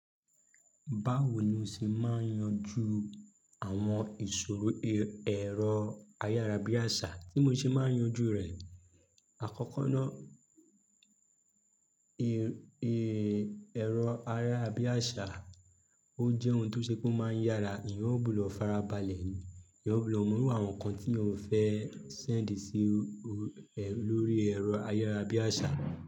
Báwo ni o ṣe máa ń yanjú àwọn ìṣòro e--, ẹ̀rọ ayárabíàṣá tí mo ṣe máa ń yanjú rẹ̀. Àkọ́kọ́ náà, e, e, ẹ̀rọ ayárabíàṣá, ó jẹ́ ohun tó ṣe pe máa ń yára, eeyan ò bu lọ farabalẹ̀ ni, eeyan ò bu lọ mú iru àwọn nǹkan tí eeyan fẹ́ sẹ́ǹdì sí o, o, e lórí ẹ̀rọ ayárabíàṣá.